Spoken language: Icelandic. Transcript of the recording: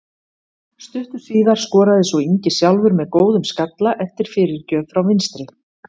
Stuttu síðar skoraði svo Ingi sjálfur með góðum skalla eftir fyrirgjöf frá vinstri.